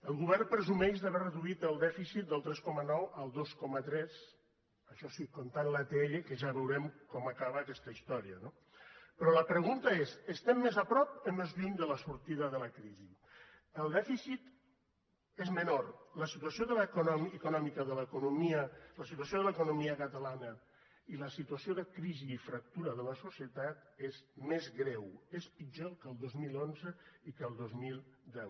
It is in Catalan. el govern presumeix d’haver reduït el dèficit del tres coma nou al dos coma tres això sí comptant l’atll que ja veurem com acaba aquesta història no però la pregunta és estem més a prop o més lluny de la sortida de la crisi el dèficit és menor la situació de l’economia catalana i la situació de crisi i fractura de la societat és més greu és pitjor que al dos mil onze i que al dos mil deu